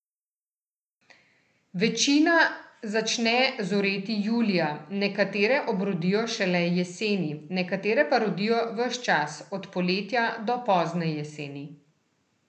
Večina začne zoreti julija, nekatere obrodijo šele jeseni, nekatere pa rodijo ves čas, od poletja do pozne jeseni.